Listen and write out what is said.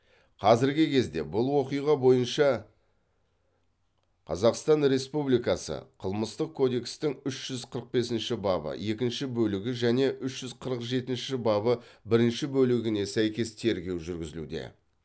қазіргі кезде бұл оқиға бойынша қазақстан республикасы қылмыстық кодекстің үш жүз қырық бесінші бабы екінші бөлігі және үш жүз қырық жетінші бабы бірінші бөлігіне сәйкес тергеу жүргізілуде